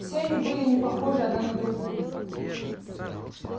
все они были не похожи одна на другую